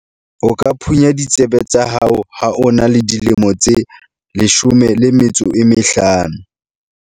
o ka phunya ditsebe tsa hao ha o na le dilemo tse 15